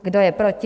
Kdo je proti?